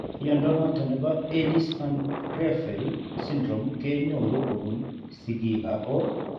Mnyondo noton nebo Ellis Van Creveld syndrome kenyoru kobun sigiik ago